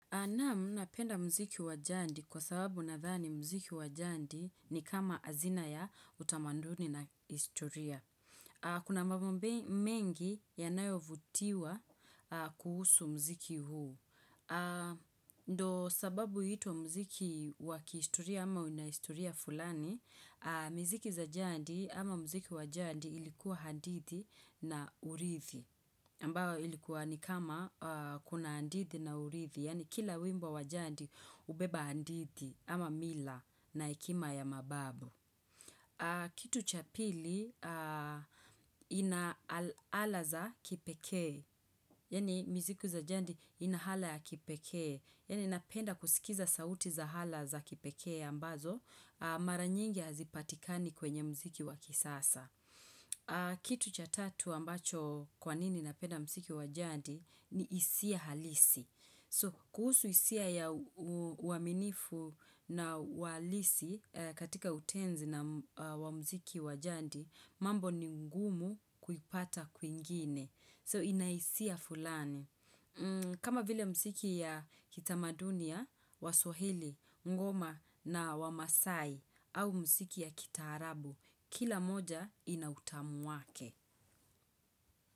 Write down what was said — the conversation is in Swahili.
Nam napenda mziki wa jadi kwa sababu nadhani mziki wa jadi ni kama azina ya utamaduni na historia. Kuna mambo mengi yanayovutiwa kuhusu mziki huu. Ndo sababu huitwa mziki wa kihistoria ama una historia fulani, mziki za jadi ama mziki wa jadi ilikuwa hadithi na urithi. Ambao ilikuwa ni kama kuna hadithi na urithi, yaani kila wimbo wa jadi hubeba hadithi ama mila na hekima ya mababu. Kitu cha pili ina ala za kipekee, yaani miziki za jadi ina hala ya kipekee, yaani napenda kusikiza sauti za ala za kipekee ambazo, maranyingi hazipatikani kwenye mziki wa kisasa. Kitu cha tatu ambacho kwa nini napenda mziki wa jadi ni hisia halisi kuhusu hisia ya uaminifu na wa halisi katika utenzi na wa mziki wa jadi mambo ni ngumu kuipata kwingine So ina hisia fulani kama vile mziki ya kitamaduni ya waswahili, ngoma na wamaasai au mziki ya kitaarabu, kila moja ina utamu wake.